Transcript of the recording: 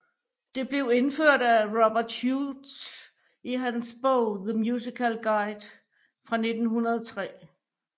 Det blev indført af Rubert Hughes i hans bog The Musical Guide fra 1903